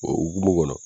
O hukumu kɔnɔ